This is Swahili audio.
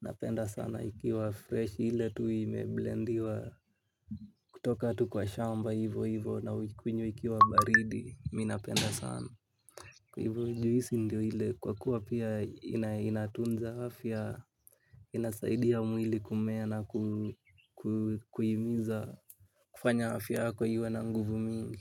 Napenda sana ikiwa fresh ile tu imeblendiwa. Kutoka tu kwa shamba hivo hivo na uikunywe ikiwa baridi mimi napenda sana. Hivo juisi ndio ile kwa kuwa pia inatunza afya inasaidia mwili kumea na kuhimiza kufanya afya yako iwe na nguvu mingi.